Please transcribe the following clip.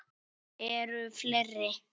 Eru fleiri?